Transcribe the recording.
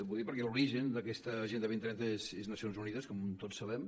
ho dic perquè l’origen d’aquesta agenda dos mil trenta són les nacions unides com tots sabem